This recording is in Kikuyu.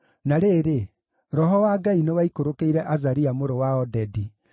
Na rĩrĩ, Roho wa Ngai nĩwaikũrũkĩire Azaria mũrũ wa Odedi.